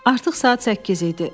Artıq saat 8 idi.